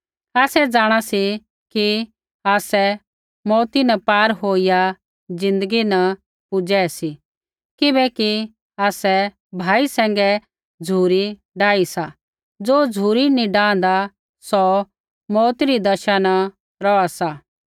आसै जाँणा सी कि आसै मौऊती न पार होईया ज़िन्दगी न पुजै सी किबैकि आसै भाई सैंघै झ़ुरी डाह सी ज़ो झ़ुरी नैंई डांहदा सौ मौऊती री दशा न रौहा सा